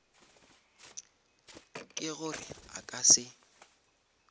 ke gore a ka se